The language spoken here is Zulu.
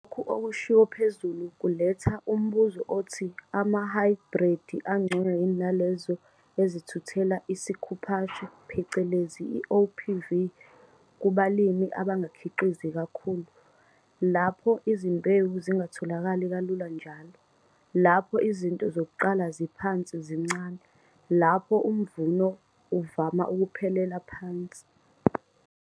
Lokho okushiwo phezulu kuletha umbuzo othi amahhayibhredi angcono yini nalezo ezithuthela isikhuphashe, OPV, kubalimi abangakhiqizi kakhulu - lapho izimbewu zingatholakali kalula njalo, lapho izinto zokuqala ziphansi zincane, lapho umvuno uvama ukuphelela phansi.